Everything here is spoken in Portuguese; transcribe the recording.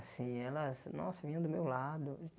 Assim, elas, nossa, vinham do meu lado.